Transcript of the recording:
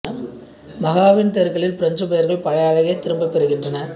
மாஹெவின் தெருக்களில் பிரஞ்சு பெயர்கள் பழைய அழகை திரும்பப் பெறுகின்றன